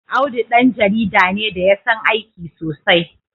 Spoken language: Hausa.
Audu ɗan jarida ne da ya san aiki sosai.